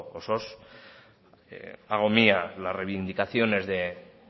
osoz hago mía la reivindicaciones de